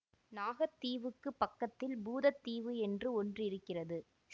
நாகத் தீவுக்குப் பக்கத்தில் பூதத் தீவு என்று ஒன்றிருக்கிறது